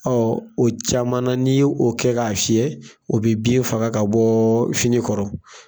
o caman ni y'o kɛ k'a fiyɛ o bi bin faga ka bɔ fini kɔrɔ.